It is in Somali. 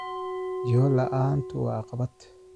Jiho la'aantu waa caqabad.